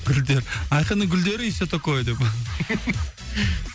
гүлдер айқынның гүлдері и все такое деп